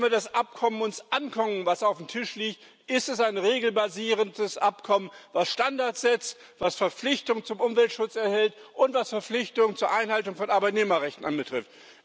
Wenn wir uns das Abkommen angucken, das auf dem Tisch liegt, ist es ein regelbasierendes Abkommen, das Standards setzt, das Verpflichtung zum Umweltschutz enthält und das Verpflichtung zur Einhaltung von Arbeitnehmerrechten betrifft.